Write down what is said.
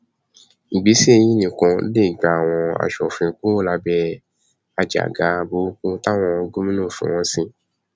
ìgbésẹ yìí nìkan ló lè gba àwọn asòfin kúrò lábẹ àjàgà burúkú táwọn gómìnà ń fi wọn sí